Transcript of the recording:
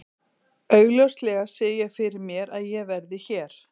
Augljóslega sé ég fyrir mér að ég verði hér.